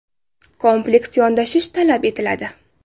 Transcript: Kompleks yondashish talab etiladi.